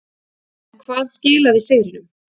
En hvað skilaði sigrinum.